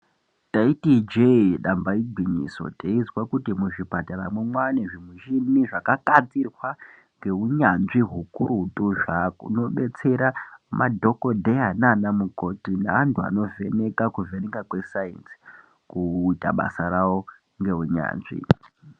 Taiti ijee damba igwinyiso teizwa kuti muzvipataramwo mwane zvimishini zvakagadzirwa ngeunyanzvi hukurutu zvinobetsera madhokodheya nanamukoti neantu anovheneka kuvheneka kwesainzi kuita basa rawo ngeunyanzvi.